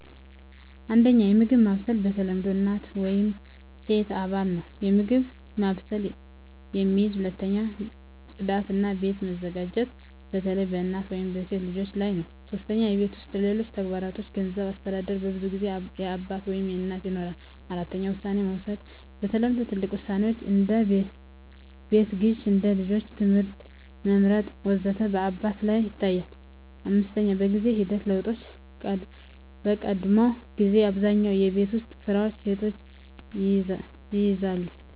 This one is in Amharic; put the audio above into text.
1. የምግብ ማብሰል በተለምዶ እናት ወይም ሴት አባል ነው የምግብ ማብሰልን የሚይዝ። 2. ጽዳት እና ቤት መዘጋጀት በተለይ በእናት ወይም በሴት ልጆች ላይ ነው 3. የቤት ውስጥ ሌሎች ተግባሮች የገንዘብ አስተዳደር በብዙ ጊዜ በአባት ወይም በእናት ይኖራል። 4. ውሳኔ መውሰድ በተለምዶ ትልቅ ውሳኔዎች (እንደ ቤት ግዢ፣ እንደ ልጆች ትምህርት መመርጥ ወዘተ) በአባት ላይ ይታያል፣ 5. በጊዜ ሂደት ለውጦች በቀድሞ ጊዜ አብዛኛውን የቤት ውስጥ ስራዎች ሴቶች ይይዛሉ